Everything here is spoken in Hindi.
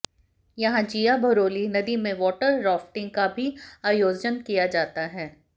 यहां जिया भरोली नदी में वाटर राफ्टिंग का भी आयोजन किया जाता है